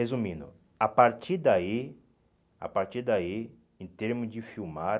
Resumindo, a partir daí, a partir daí, em termos de filmar,